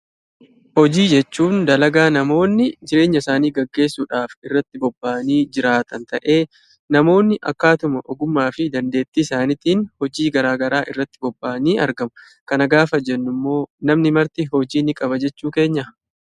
Hojii jechuun dalagaa namoonni jireenya isaanii gaggeessuudhaaf irratti bobba'anii jiraatan ta'ee namoonni akkatuma ogummaa fi dandeettii isaaniitiin hojii garaa garaa irratti bobba'anii argamu. Kana gaafa jennu immoo namni marti hojii ni qaba jechuu keenyaa?